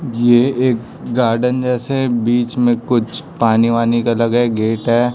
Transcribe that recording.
ये एक गार्डन जैसे बीच मे कुछ पानी वानी का लगे गेट है।